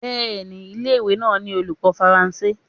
Bẹ́ẹ̀ni ilé ìwé náà ní olùkọ́ Faransé.